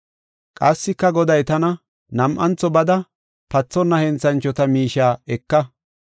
Qassika Goday tana, “Nam7antho bada pathonna henthanchota miishiya eka.